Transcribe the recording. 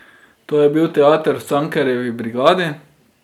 To je bil teater v Cankarjevi brigadi.